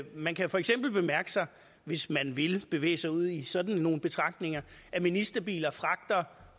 man kan for eksempel mærke sig hvis man vil bevæge sig ud i sådan nogle betragtninger at ministerbiler fragter